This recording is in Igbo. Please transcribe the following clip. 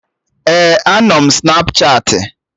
Ee, anọ m Snapchatị